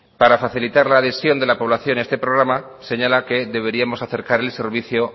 para facilitar la adhesión de la población a este programa señala que deberíamos acercarles el servicio